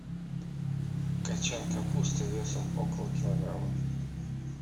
кочан капусты весом около килограмма